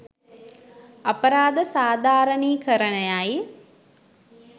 අපරාධ සාදාරණී කරණයයි.